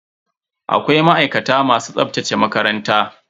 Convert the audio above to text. Akwai ma'aikata masu tsaftace makaranta.